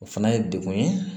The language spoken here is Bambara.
O fana ye degun ye